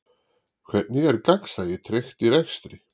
Hvernig er gegnsæi tryggt í rekstri?